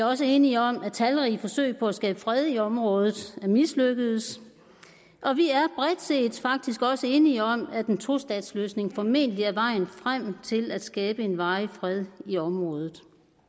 også enige om at talrige forsøg på at skabe fred i området er mislykkedes og vi er bredt set faktisk også enige om at en tostatsløsning formentlig er vejen frem til at skabe en varig fred i området